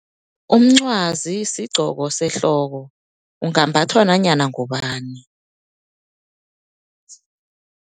Umncwazi sigcoko sehloko, ungambhathwa nanyana ngubani.